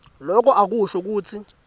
loko akusho kutsi